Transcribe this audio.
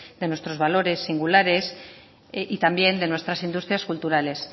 de nuestros valores singulares y también de nuestras industrias culturales